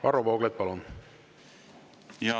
Varro Vooglaid, palun!